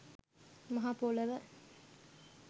මහ පොළව